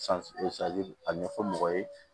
a ɲɛfɔ mɔgɔ ye